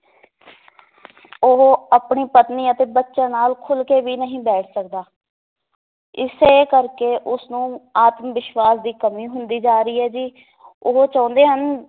ਉਹ ਆਪਣੀ ਪਤਨੀ ਅਤੇ ਬੱਚਿਆਂ ਨਾਲ ਖੁੱਲ ਕੇ ਵੀ ਨਹੀ ਬੈਠ ਸਕਦਾ ਇਸੇ ਕਰਕੇ ਉਸਨੂੰ ਆਤਮਵਿਸ਼ਵਾਸ ਦੀ ਕਮੀ ਹੁੰਦੀ ਜਾ ਰਹੀ ਹੈ ਜੀ ਉਹ ਚਾਹੁੰਦੇ ਹਨ